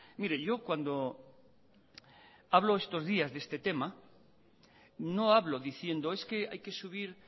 mire yo cuando hablo estos días de este tema no hablo diciendo es que hay que subir